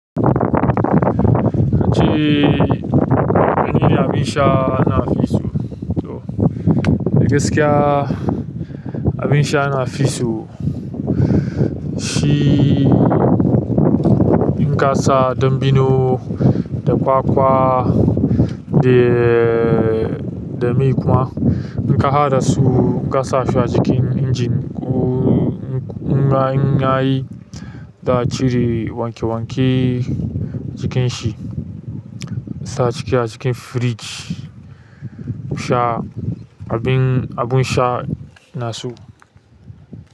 Na ce, wane abinsha nafiso. A gaskiya abin sha nafiso. Shi in kasa ɗanbino da kwakwa da, dami kuma inka haɗa su kasasu a cikin injin ƙuƙuƙun yayi ta cire wanke wanke cikin shi, ki sa ciki a cikin firij. Sha abin, abun sha naso.